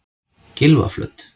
Gylfaflöt